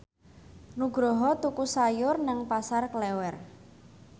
Nugroho tuku sayur nang Pasar Klewer